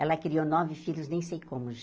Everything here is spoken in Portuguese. Ela criou nove filhos, nem sei como.